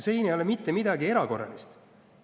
Siin ei ole mitte midagi erakorralist.